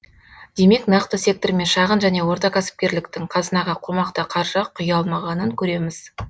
демек нақты сектор мен шағын және орта кәсіпкерліктің қазынаға қомақты қаржы құя алмағанын көреміз